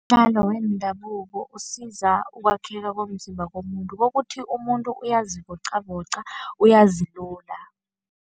Umdlalo wendabuko usiza ukwakheka komzimba komuntu, kokuthi umuntu uyazivoqavoqa, uyazilula.